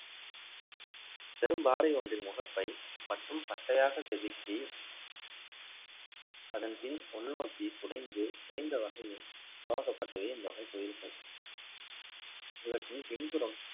பெரும்பாறை ஒன்றின் முகப்பை மற்றும் பட்டையாக செதுக்கி அதன் பின் உள்நோக்கி குடைந்து, குறைந்த வகையில் உருவாக்கப்பட்டது இந்த வகை கோவில்கள். இவற்றின் பின்புறம்